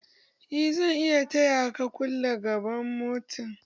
Eh zan iya taya ka kulle gaban motan